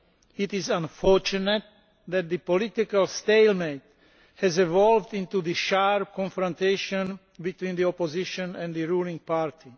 It is unfortunate that political stalemate has evolved into sharp confrontation between the opposition and the ruling party.